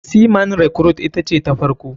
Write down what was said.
Sea man recruite ita ce ta farko.